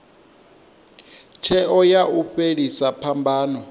tsheo ya u fhelisa phambano